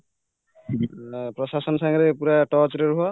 ପ୍ରଶାସନ ସାଙ୍ଗରେ ପୁରା touch ରେ ରୁହ